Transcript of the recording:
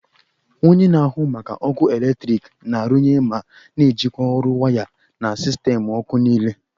Onye na-ahụ maka ọkụ eletrik na-arụnye ma na-ejikwa ọrụ waya na sistemụ ọkụ niile